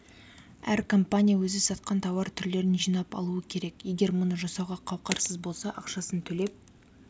әр компания өзі сатқан тауар түрлерін жинап алуы керек егер мұны жасауға қауқарсыз болса ақшасын төлеп